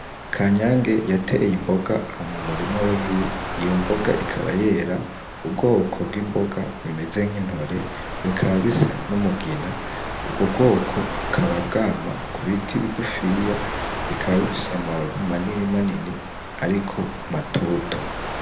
Ka nyange yateye imboga amumurima wiwe iyo mboga ikaba yera ubwoko bw'imboga bimeze nk'intore bikaba bisa n'umugina ubwo bwoko bukaba bwama ku biti bigufiya bikaba bifishe amababi manini manini, ariko matoto.